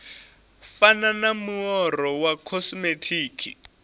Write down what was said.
fana na muaro wa khosimetiki